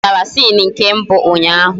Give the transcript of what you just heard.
Anyị mechara sini nke mbụ ụnyaahụ